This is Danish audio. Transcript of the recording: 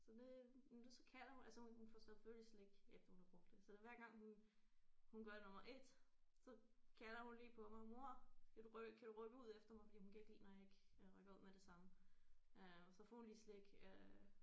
Så det men så kalder hun altså hun får selvfølgelig slik efter hun har brugt det så der hver gang hun hun gør nummer 1 så kalder hun lige på mig mor skal du kan du rykke ud efter mig fordi hun kan ikke lide når jeg ikke rykker ud med det samme øh så får hun lige slik øh